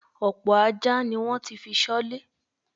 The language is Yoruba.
Ọ̀pọ̀ ajá ni wọ́n ti fi ṣọ́lé.